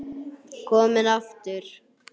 Kominn aftur?